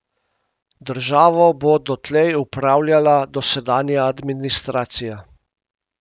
Državo bo dotlej upravljala dosedanja administracija.